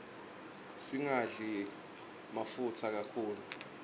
singadli mafutsa kakhulu